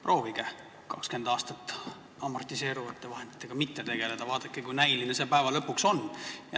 Proovige amortiseeruvate vahenditega 20 aastat mitte tegeleda, vaadake, kui näiline see lõpuks on.